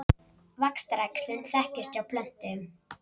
Vaxtaræxlun þekkist hjá plöntum.